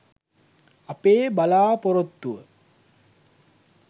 අපේ බලාපොරොත්තුව.